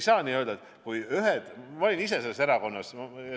Ma olin ise opositisoonierakonnas.